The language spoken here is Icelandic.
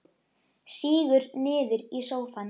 Sígur niður í sófann.